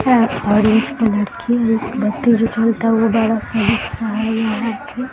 बड़ा सा दिख रहा है यहाँ पे।